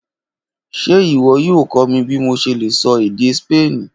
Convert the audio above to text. Ṣe iwọ yoo kọ mi bi mo ṣe le sọ ede Spani?